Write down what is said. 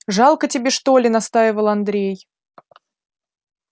жалко тебе что ли настаивал андрей